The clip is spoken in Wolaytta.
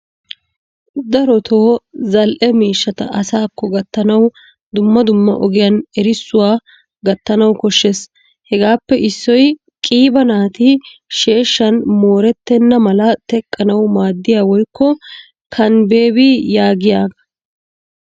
Darotoo zal'ee miishshaata asaako gattanawu dumma dumma ogiyan erissuwaa gattanawu koshshees, Hagaappe issoy qiiba naati sheeshshaan mooretenna mala teqqanawu maadiyaba woykko kanibebi yaagiyooga.